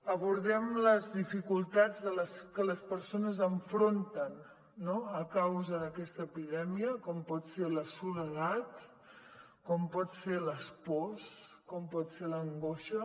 abordem les dificultats que les persones enfronten no a causa d’aquesta epidèmia com pot ser la soledat com poden ser les pors com pot ser l’angoixa